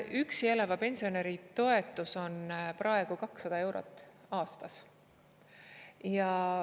Üksi elava pensionäri toetus on praegu 200 eurot aastas.